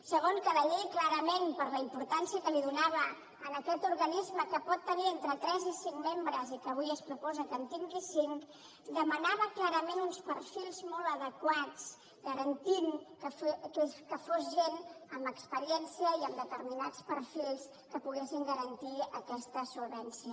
segona que la llei clarament per la importància que li donava a aquest organisme que pot tenir entre tres i cinc membres i que avui es proposa que en tingui cinc demanava uns perfils molt adequats que garantissin que fos gent amb experiència i amb determinats perfils que poguessin garantir aquesta solvència